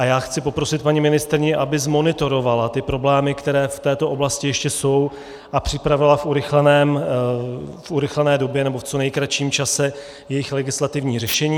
A já chci poprosit paní ministryni, aby zmonitorovala ty problémy, které v této oblasti ještě jsou, a připravila v urychlené době nebo v co nejkratším čase jejich legislativní řešení.